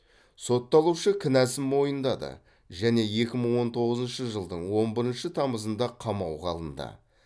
сотталушы кінәсін мойындады және екі мың он тоғызыншы жылдың он бірінші тамызында қамауға алынды